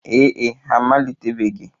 Ee e, ha amalitebeghị.